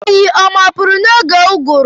Oyi ọ mapụrụ n'oge ụgụrụ.